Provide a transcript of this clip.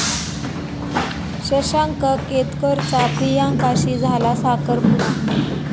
शशांक केतकरचा प्रियांकाशी झाला साखरपुडा